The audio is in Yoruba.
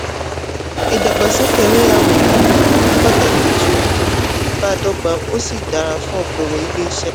ìdàgbàsókè ẹlẹ́yàmẹ̀yẹ̀ um ní pàtàkì jù um bádọ́gba ó sì dára fún okòwò ilé-iṣẹ́.